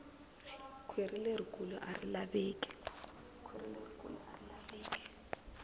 kwhiri leri kulu ari laveki